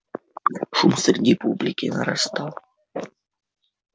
шум среди публики нарастал